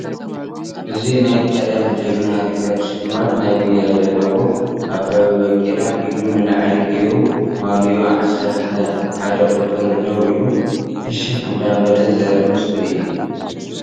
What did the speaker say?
እዚ ናይ ቀደም ጀግና ሪከርድ ሽልማት ናይ ጉያ ዘለዎ አበበ በቂላ ኢዱ ንላዕሊ ጌሩ ማልይኡ ዓሰርተ ሓደ ቁፅሪ ደው ኢሉ ፍሽክ እናበለ ዘርኢ ምስሊ እዩ።